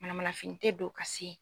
Manamanafini tɛ don ka se yen.